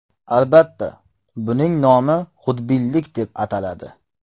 Albatta, buning nomi xudbinlik deb ataladi.